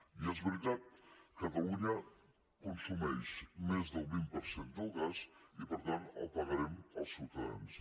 i és veritat catalunya consumeix més del vint per cent del gas i per tant el pagarem els ciutadans